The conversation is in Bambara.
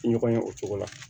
Ɲɔgɔn ye o cogo la